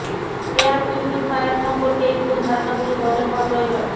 air purifier সম্পর্কে এই ভুল ধারনাগুলি বদল হওয়া প্রয়োজন